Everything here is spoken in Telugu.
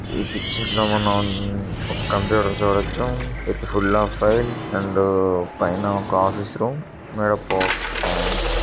ఈ పిక్చర్ లో మనం ఒక కంప్యూటర్ చూడొచ్చు with full of files and పైన ఒక ఆఫీసు రూమ్ మరొక కో ఫాన్స్ --